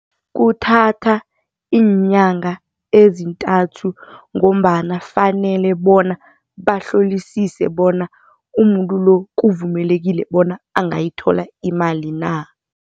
Kuthatha iinyanga ezintathu ngombana kufanele bona bahlolisise bona umuntu lo kuvumelekile bona angayithola imali na.